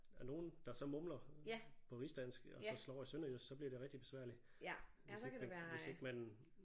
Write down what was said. Der er nogen der så mumler på rigsdansk og så slår over i sønderjysk så bliver det rigtig besværligt hvis ikke hvis ikke man